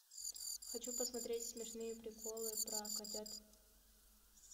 хочу посмотреть смешные приколы про котят